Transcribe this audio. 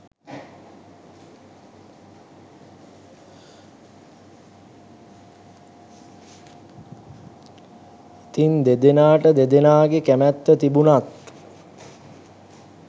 ඉතින් දෙදෙනාට දෙදනාගේ කැමැත්ත තිබුණත්